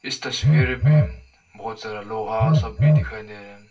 इस तस्वीर पर बहोत सारा लोहा सब भी दिखाई दे रहा--